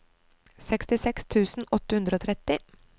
sekstiseks tusen åtte hundre og tretti